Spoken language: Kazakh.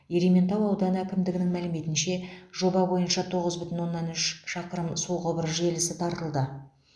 ерейментау ауданы әкімдігінің мәліметінше жоба бойынша тоғыз бүтін оннан үш шақырым су құбыры желісі тартылды